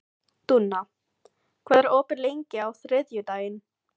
Dúna, hvað er opið lengi á þriðjudaginn?